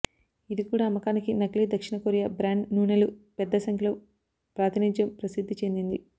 ఇది కూడా అమ్మకానికి నకిలీ దక్షిణ కొరియా బ్రాండ్ నూనెలు పెద్ద సంఖ్యలో ప్రాతినిధ్యం ప్రసిద్ధిచెందింది